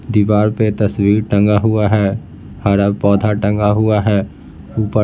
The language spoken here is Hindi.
दीवार पे तस्वीर टंगा हुआ है हरा पौधा टंगा हुआ है ऊपर--